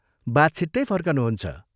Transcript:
बा छिट्टै फर्कनुहुन्छ।